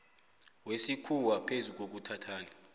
wesikhuwa phezu kokuthathana